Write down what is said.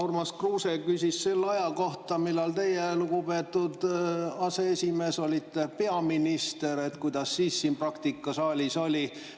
Urmas Kruuse küsis selle aja kohta, millal teie, lugupeetud aseesimees, olite peaminister: et kuidas siis siin saalis praktika oli.